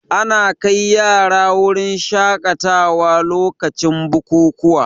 Ana kai yara wurin shaƙatawa lokacin bukukuwa